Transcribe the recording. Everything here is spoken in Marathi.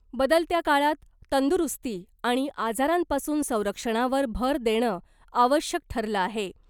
बदलत्या काळात तंदुरुस्ती आणि आजारांपासून संरक्षणावर भर देणं आवश्यक ठरलं आहे .